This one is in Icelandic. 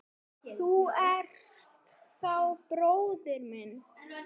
Þú ert þá bróðir minn.